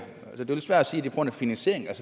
det grund af finansieringen